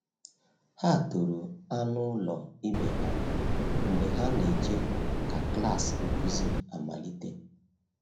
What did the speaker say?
Ha toro anụ ụlọ ibe ha mgbe ha na-eche ka klas nkuzi amalite.